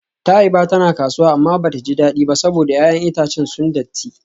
Taiba tana kasuwa amma bata ji dadi ba saboda 'ya'yan itacen sun datti.